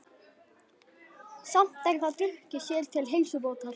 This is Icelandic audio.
Samt er það drukkið sér til heilsubótar.